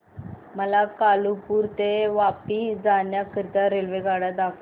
मला कालुपुर ते वापी जाण्या करीता रेल्वेगाड्या दाखवा